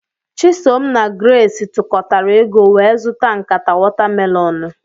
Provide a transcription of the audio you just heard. Chisom na Grace tukatara ego wee zụta nkata watamelonụ.